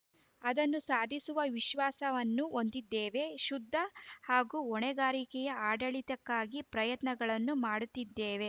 ಅದನ್ನು ಸಾಧಿಸುವ ವಿಶ್ವಾಸವನ್ನೂ ಹೊಂದಿದ್ದೇವೆ ಶುದ್ಧ ಹಾಗೂ ಹೊಣೆಗಾರಿಕೆಯ ಆಡಳಿತಕ್ಕಾಗಿ ಪ್ರಯತ್ನಗಳನ್ನು ಮಾಡುತ್ತಿದ್ದೇವೆ